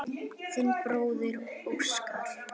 Þinn bróðir Óskar.